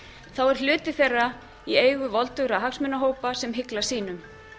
þá er hluti þeirra í eigu voldugra hagsmunahópa sem hygla sínum